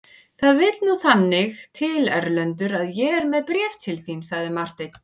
Það vill nú þannig til Erlendur að ég er með bréf til þín, sagði Marteinn.